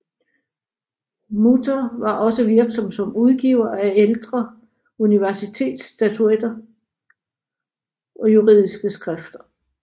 Muther var også virksom som udgiver af ældre universitetsstatutter og juridiske skrifter